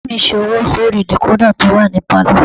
Bàbá mi ṣe owó sórí dìkódà tó wà ní pálọ̀